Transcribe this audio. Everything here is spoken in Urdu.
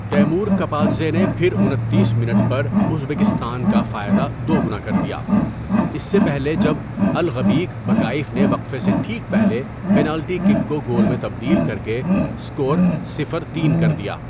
تیمور کپادزے نے پھر انتیس منٹ پر ازبکستان کا فائدہ دوگنا کر دیا، اس سے پہلے جب الغبیک بکائیف نے وقفے سے ٹھیک پہلے پنالٹی کک کو گول میں تبدیل کر کے اسکور صفر۔ تین کر دیا۔